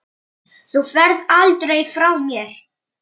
Mér miðar áfram.